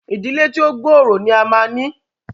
ìdílé tí o gbooro ní a má ní!